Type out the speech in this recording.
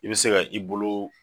I be se ka i bolo